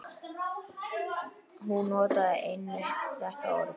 Hún notaði einmitt þetta orð.